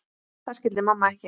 Það skildi mamma ekki.